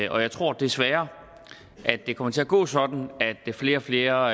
og jeg tror desværre at det kommer til at gå sådan at flere flere og